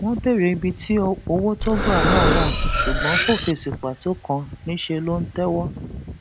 wọn béèrè ibi tí owó tó gbà náà wà ṣùgbọn kò fèsì pàtó kan níṣẹ ló ń tẹwọ